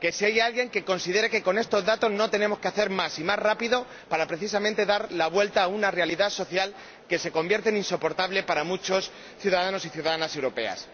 Si hay alguien que considere que con estos datos no tenemos que hacer más y más rápido para, precisamente, dar la vuelta a una realidad social que se convierte en insoportable para muchos ciudadanos y ciudadanas europeos.